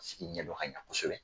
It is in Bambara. sigi ɲɛ dɔn ka ɲa kosɛbɛ.